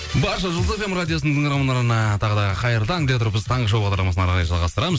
барша жұлдыз фм радиосының тыңдармандарына тағы да қайырлы таң дей отырып біз таңғы шоу бағдарламасын әрі қарай жалғастырамыз